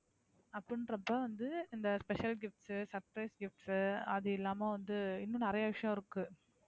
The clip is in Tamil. அப்படின்றப்ப வந்து இந்த special gift, surpise gift அது இல்லாம வந்து இன்னும் நிறைய விஷயம் இருக்கு.